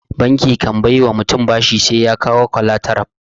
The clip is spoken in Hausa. Banki kan bai wa mutum bashi sai ya kawo kwalataral.